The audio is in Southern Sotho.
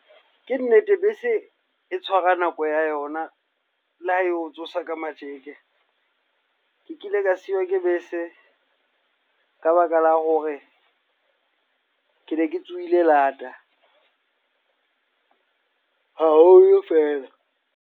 Ke nnete bese e tshwara nako ya yona le ha eo tsosa ka matjeke. Ke kile ka siwa ke bese ka baka la hore kene ke tsohile lata, haholo feela.